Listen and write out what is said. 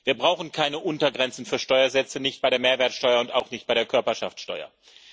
Wir brauchen keine Untergrenzen für Steuersätze nicht bei der Mehrwertsteuer und auch nicht bei der Körperschaftsteuer.